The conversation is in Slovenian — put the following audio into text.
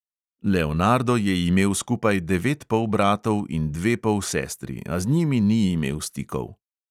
Leonardo je imel skupaj devet polbratov in dve polsestri, a z njimi ni imel stikov.